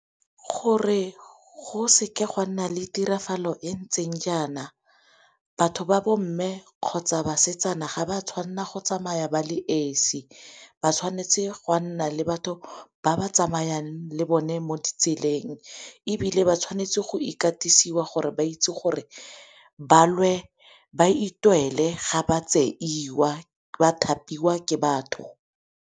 Gore go seke go a nna le tiragalo e ntseng jaana batho ba bomme kgotsa basetsana ga ba tshwanela go tsamaya ba le esi. Ba tshwanetse go a nna le batho ba ba tsamayang le bone mo ditseleng, ebile ba tshwanetse go ikatisa jwa gore ba itse gore ba itwele ga ba tseiwa ba thapiwa ke batho.